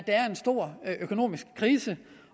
er en stor økonomisk krise